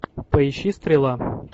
поищи стрела